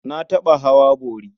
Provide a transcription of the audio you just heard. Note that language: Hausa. Na taɓa hawa bori.